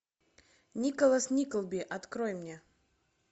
николас никлби открой мне